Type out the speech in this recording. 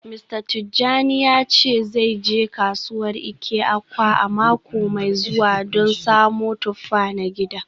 Mista Tijani ya ce zai je kasuwar Eke-Awka a mako mai zuwa don samo tuffa na gida.